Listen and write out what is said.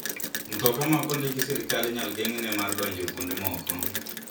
Mtoka ma ok ondiki gi sirkal inyal geng'ne mar donjo kuonde moko.